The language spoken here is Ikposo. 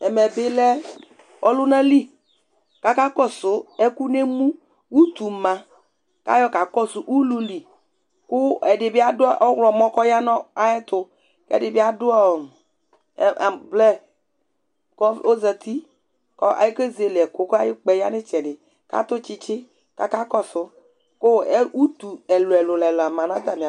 ɛmɛ bi lɛ ɔlʋna li kʋ aka kɔsʋ ɛkʋ nʋ ɛmʋ, ʋtʋ ma kʋ ayɔ kakɔsʋ ʋlʋli kʋɛdibi adʋ ɔwlɔmɔ kʋ ɔya nʋ ayɛtʋ kʋ ɛdibi adʋɔ amblɛ kʋ ɔzati kʋ ɔkɛzɛlɛ ɛkʋ kʋayi ʋkpaɛ yanʋ itsɛdi atʋ tsitsi kʋ ɔkakɔsʋ kʋ ʋtʋ ɛlʋɛlʋ la manʋ